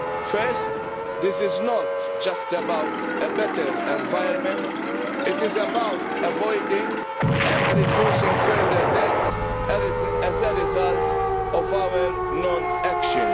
First, this is not just about a better environment, it is about avoiding and reducing further deaths as a result of our non action.